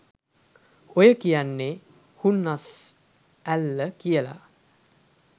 ඔය කියන්නේ “හුන්නස් ඇල්ල” කියල